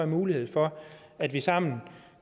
mulighed for at vi sammen